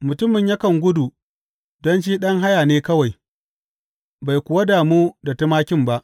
Mutumin yakan gudu don shi ɗan haya ne kawai, bai kuwa damu da tumakin ba.